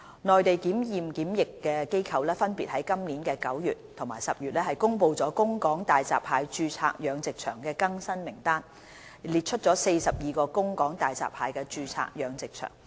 內地檢驗檢疫機構分別於今年9月及10月公布了供港大閘蟹註冊養殖場的更新名單，列出42個供港大閘蟹註冊養殖場。